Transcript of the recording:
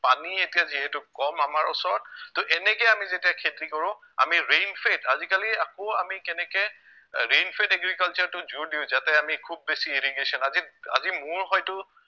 পানী এতিয়া যিহেতু কম আমাৰ ওচৰত তহ এনেকে আমি যেতিয়া খেতি কৰো আমি rain fed আজিকালি আকৌ আমি কেনেকে rain fed agriculture টো জোৰ দিও যাতে আমি খুউব বেছি irrigation আজি আজি মোৰ হয়তো